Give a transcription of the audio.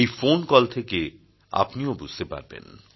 এই phone call থেকে আপনিও বুঝতে পারবেন